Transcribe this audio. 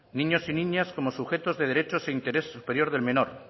niños y niñas como sujetos de derechos e interés superior del menor